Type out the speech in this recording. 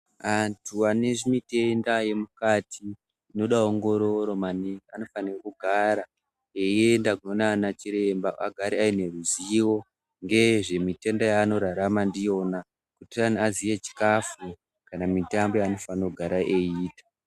Antu anezvimitenda zvemukati zvinoda ongororo maningi anofanira kugara einda kunoona ana chiremba agare aneruzivo ngezvemitenda yaanorarama ndiyona kuite azive chikafu kana mitambo yanofanira kugara eita.